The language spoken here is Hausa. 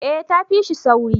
eh ta fi shi sauri